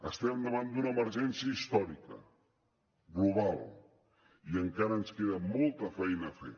estem davant d’una emergència històrica global i encara ens queda molta feina a fer